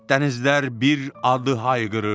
Dənizlər bir adı hayqırırdı.